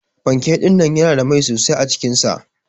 Panke dinnan yana da mai sosai acikin sa.